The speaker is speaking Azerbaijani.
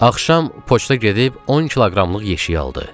Axşam poçta gedib 10 kiloqramlıq yeşiyi aldı.